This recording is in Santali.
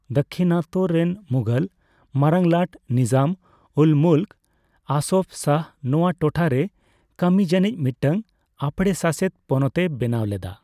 ᱫᱟᱠᱠᱷᱤᱱᱟᱛᱛᱚ ᱨᱮᱱ ᱢᱩᱜᱷᱚᱞ ᱢᱟᱨᱟᱝᱞᱟᱴ ᱱᱤᱡᱟᱢᱼᱩᱞᱼᱢᱩᱞᱠ ᱟᱥᱚᱯᱷ ᱡᱟᱦ ᱱᱚᱣᱟ ᱴᱚᱴᱷᱟ ᱨᱮ ᱠᱟᱹᱢᱤ ᱡᱟᱹᱱᱤᱪ ᱢᱤᱫᱴᱟᱝ ᱟᱯᱲᱮ ᱥᱟᱥᱮᱛ ᱯᱚᱱᱚᱛᱮ ᱵᱮᱱᱟᱣ ᱞᱮᱫᱟ ᱾